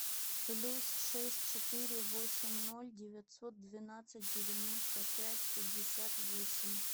плюс шесть четыре восемь ноль девятьсот двенадцать девяносто пять пятьдесят восемь